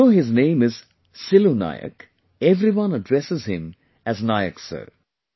Although his name is Silu Nayak, everyone addresses him as Nayak Sir